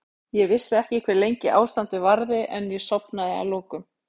Ég vissi ekki hve lengi ástandið varði en ég sofnaði að lokum.